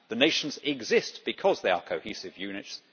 Nations exist because they are cohesive units.